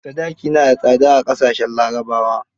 Sadaki na da tsada a ƙasashen larabawa.